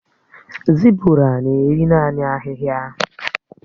Zébụrà nà-èrí naanị ahịhịa.